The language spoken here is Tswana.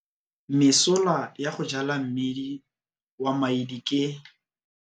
Mesola ya go jala mmidi wa maidi ke -